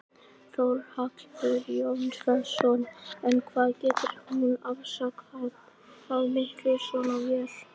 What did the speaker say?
Þórhallur Jósefsson: En hvað getur hún afkastað miklu svona vél?